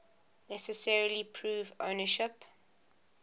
necessarily prove ownership